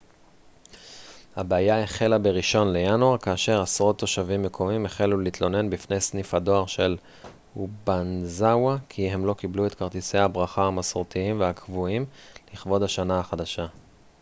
הבעיה החלה בראשון לינואר כאשר עשרות תושבים מקומיים החלו להתלונן בפני סניף הדואר של אובאנאזאווא כי הם לא קיבלו את כרטיסי הברכה המסורתיים והקבועים לכבוד השנה החדשה